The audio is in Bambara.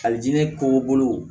Alijinɛ kogo